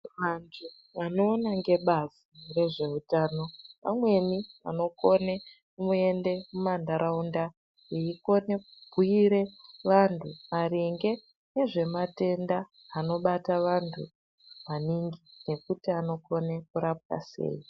Vantu vanoona ngebazi rezveutano vamweni vanokone kuenda mumandaraunda veikone kubhuyire vantu maringe ngezvematenda anobata vantu maningi nekuti anokone kurapwa sei.